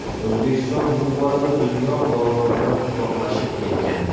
O‘zbekiston bu borada dunyo bozoridan uzoqlashib ketgan.